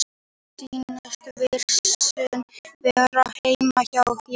Mér sýnist vírusinn vera heima hjá þér.